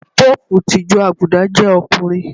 Pópùù ti ìjọ Àgùdà jẹ́ ọkùnrin.